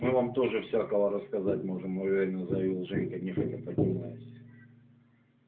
мы вам тоже всякого рассказать можем уверенно заявил женька нехотя поднимаясь